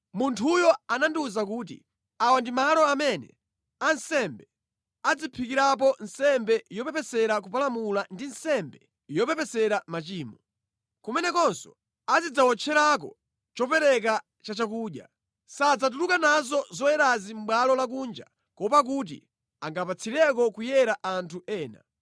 Munthuyo anandiwuza kuti, “Awa ndi malo amene ansembe adzaphikirapo nsembe yopepesera kupalamula ndi nsembe yopepesera machimo. Kumenekonso azidzawotcherako chopereka cha chakudya. Sadzatuluka nazo zoyerazi mʼbwalo lakunja kuopa kuti angapatsireko kuyera anthu ena.”